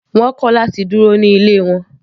Wọ́n kọ̀ láti dúró ní ilé wọn.